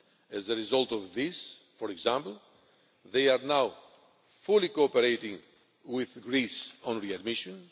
As a result of this, for example, they are now fully cooperating with Greece on readmission.